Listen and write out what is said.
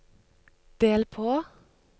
del på